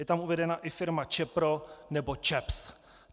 Je tam uvedena i firma Čepro nebo ČEPS.